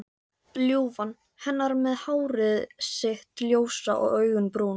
Ljúfan hennar með hárið sitt ljósa og augun brún.